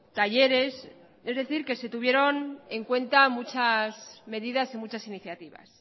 talleres es decir que se tuvieron en cuenta muchas medidas y muchas iniciativas